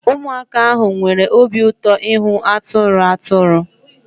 Weremụaka ahụ nwere obi ụtọ ịhụ atụrụ atụrụ